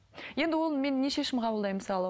енді ол мен не шешім қабылдаймын мысалы